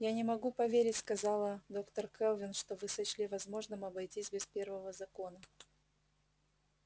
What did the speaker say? я не могу поверить сказала доктор кэлвин что вы сочли возможным обойтись без первого закона